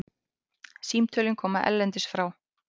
Símtölin koma erlendis frá.